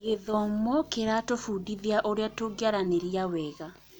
Gĩthomo kĩratũbundithia ũrĩa tũngiaranĩria wega.